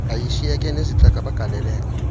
yayishiyeke nezicaka bagaleleka